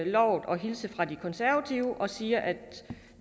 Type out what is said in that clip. lovet at hilse fra de konservative og sige at